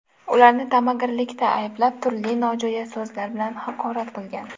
Ularni tamagirlikda ayblab, turli nojo‘ya so‘zlar bilan haqorat qilgan.